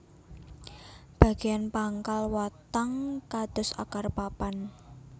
Bageyan pangkal watang kados akar papan